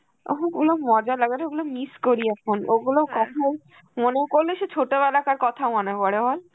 ওহো গুলো মজা লাগে রে, ওইগুলো miss করি এখন, ওগুলো কখন মনে করলে সে ছোটবেলাকার কথা মনে পড়ে বল?